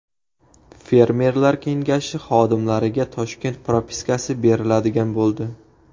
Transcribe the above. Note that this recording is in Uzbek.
Fermerlar kengashi xodimlariga Toshkent propiskasi beriladigan bo‘ldi.